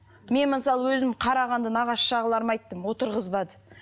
мен мысалы өзім қарағанды нағашы жағыларыма айттым отырғызбады